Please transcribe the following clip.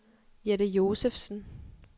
Jette Josefsen